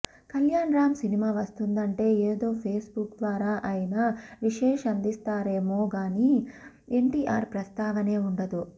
కళ్యాణ్ రామ్ సినిమా వస్తుందంటే ఏదో పేస్ బుక్ ద్వారా అయినా విశేష్ అందిస్తారేమో గానీ ఎన్టీఆర్ ప్రస్తావనే వుండదు